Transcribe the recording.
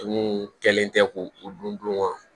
kɛlen tɛ ko o dun dun